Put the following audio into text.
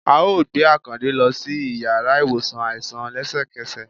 à ọ gbe Akańde lo si ìyára iwosàn aisan lẹsẹkẹsẹ